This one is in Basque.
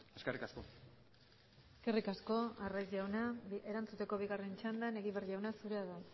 eskerrik asko eskerrik asko arraiz jauna erantzuteko bigarren txandan egibar jauna zurea da